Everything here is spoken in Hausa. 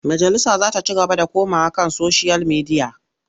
Majalisa za ta ci gaba da komawa kan soshiyal midiya.